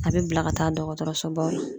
A bɛ bila ka taa dɔgɔtɔrɔso baw la.